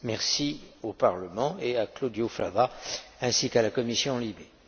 Merci au Parlement et à Claudio Fava ainsi qu'à la commission LIBE.